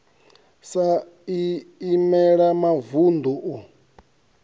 sa i imela mavunḓu u